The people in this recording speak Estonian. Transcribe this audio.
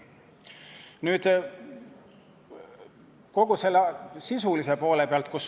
Nüüd selle sisulise poole pealt.